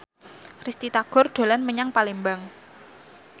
Risty Tagor dolan menyang Palembang